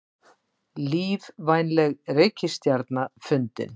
Lífvænleg reikistjarna fundin